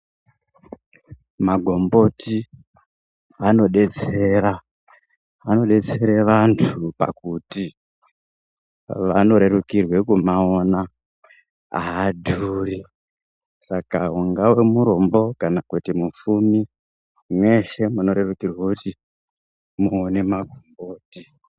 Magomboti anodetsera, anodetsera vantu pakuti vanorerukirwe kumaona, haadhuri. Saka ungave murombo kana kana mupfumi, meshe munorerukirwe kuti muone magomboti.